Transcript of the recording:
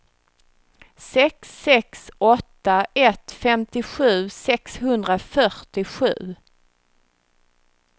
sex sex åtta ett femtiosju sexhundrafyrtiosju